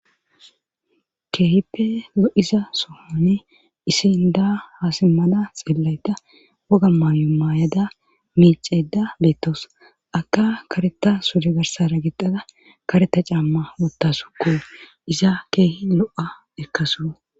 keehippe lo7iza sohani isin daa haasimmada xeellayta woga maamu maayada miiceda beettos aka kareta sure garsara gixada kareta camma wuttasu ko iza keehi lo7a erkaso